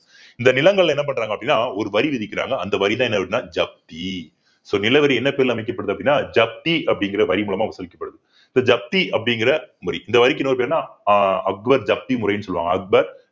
இந்த நிலங்கள் என்ன பண்றாங்க அப்படின்னா ஒரு வரி விதிக்கிறாங்க அந்த வரிதான் என்ன அப்படின்னா ஜப்தி so நில வரி என்ன பேருல அமைக்கப்படுது அப்படின்னா ஜப்தி அப்படிங்கிற வரி மூலமா வசூலிக்கப்படுது இப்ப ஜப்தி அப்படிங்கிற வரி இந்த வரிக்கு இன்னொரு பேருன்னா ஆஹ் அக்பர் ஜப்தி முறைன்னு சொல்லுவாங்க அக்பர்